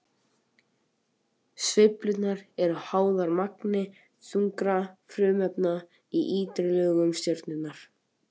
Sveiflurnar eru háðar magni þungra frumefna í ytri lögum stjörnunnar.